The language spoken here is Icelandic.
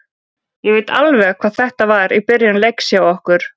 Ég veit alveg hvað þetta var í byrjun leiks hjá okkur.